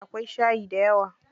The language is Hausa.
Akwai shayi dayawa.